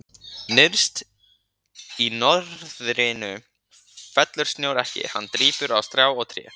Nyrst í norðrinu fellur snjór ekki, hann drýpur, á strá og tré.